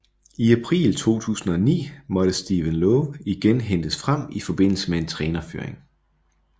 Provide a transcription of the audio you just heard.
I april 2009 måtte Stephen Lowe igen hentes frem i forbindelse med en trænerfyring